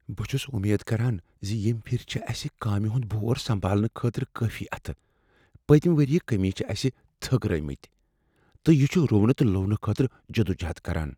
بہٕ چُھس امید کران ز ییمہِ پھِرِ چھِ اسہ کامہِ ہُند بور سنبالنہٕ خٲطرٕ کٲفی اتھہٕ پٔتمہ ؤری چہ کٔمی چھ اسہِ تھکرٲوۍ مٕتۍ تہٕ چھِ روٗونہٕ تہٕ لوننہٕ خٲطرٕ جدوجہد کران۔"